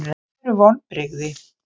Hvað eru vonbrigði?